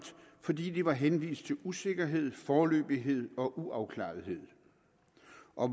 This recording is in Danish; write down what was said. fordi de var henvist til usikkerhed foreløbighed og uafklarethed